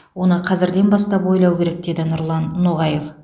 оны қазірден бастап ойлау керек деді нұрлан ноғаев